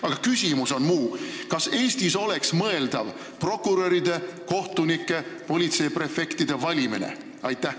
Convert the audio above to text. Aga küsimus on muu kohta: kas Eestis oleks mõeldav prokuröride, kohtunike ja politseiprefektide valimine?